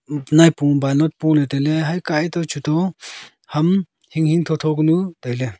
upnai pung pa nu pule taile haikai to chuto ham hing hing tho tho kunu taile.